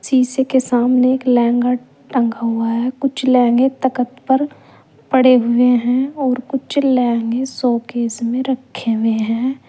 शीशे के सामने एक लहंगा टंगा हुआ है कुछ लहंगे तकत पर पड़े हुए हैं और कुछ लहंगे शोकेस में रखें हुए हैं।